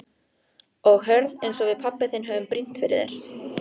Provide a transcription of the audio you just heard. Og hörð einsog við pabbi þinn höfum brýnt fyrir þér.